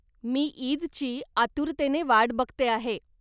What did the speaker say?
मी ईदची आतुरतेने वाट बघते आहे.